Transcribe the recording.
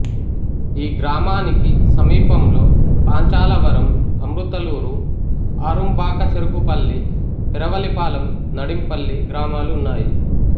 ఈ గ్రామానికి సమీపంలో పాంచాలవరం అమృతలూరు ఆరుంబాకచెరుకుపల్లి పెరవలిపాలెం నడింపల్లి గ్రామాలు ఉన్నాయి